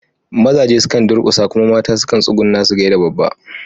Mazaje sukan durƙusa kuma mata sukan tsugunna su gaida babba.